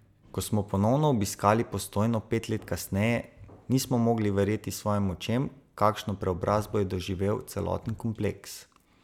Ko smo ponovno obiskali Postojno pet let kasneje, nismo mogli verjeti svojim očem, kakšno preobrazbo je doživel celoten kompleks!